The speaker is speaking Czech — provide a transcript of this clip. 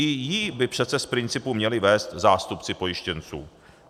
I ji by přece z principu měli vést zástupci pojištěnců.